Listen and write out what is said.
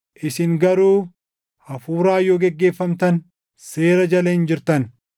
Isin garuu Hafuuraan yoo geggeeffamtan seera jala hin jirtan.